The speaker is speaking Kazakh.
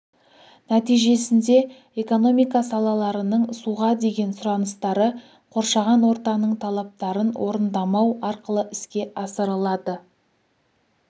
нәтижесінде экономика салаларының суға деген сұраныстары қоршаған ортаның талаптарын орындамау арқылы іске асырылады